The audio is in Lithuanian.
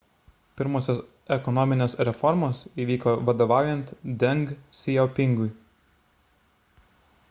pirmosios ekonominės reformos įvyko vadovaujant deng siaopingui